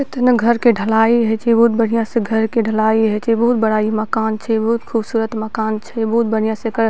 इतना घर के ढलाई होय छै बहुत बढ़िया से घर के ढलाई होय छै बहुत बड़ा इ मकान छै बहुत खूबसूरत मकान छै बहुत बढ़िया से एकर --